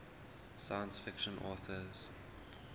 science fiction authors